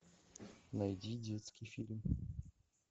найди детский фильм